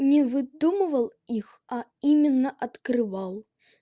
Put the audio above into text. не выдумывал их а именно открывал